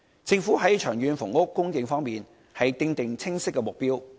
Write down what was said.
政府在長遠房屋供應方面，訂出清晰的目標。